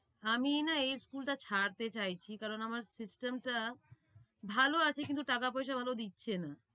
আমি না এই school টা ছাড়তে চাইছি কারণ আমার system টা ভালো আছে কিন্তু টাকা-পয়সা ভালো দিচ্ছে না।